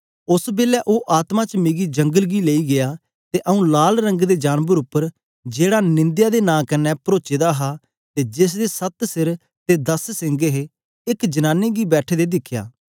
ओस बेलै ओ आत्मा च मिकी जंगल गी लेई गीया ते आऊँ लाल रंग दे जानबर उप्पर जेहड़ा निंदया दे नां कन्ने परोचे दा हा ते जेसदे सत्त सिर ते दस सिंग हे एक जनानी गी बैठे दे दिखया